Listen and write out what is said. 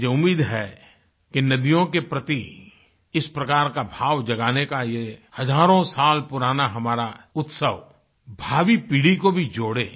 मुझे उम्मीद है कि नदियों के प्रति इस प्रकार का भाव जगाने का ये हज़ारों साल पुराना हमारा उत्सव भावी पीढ़ी को भी जोड़े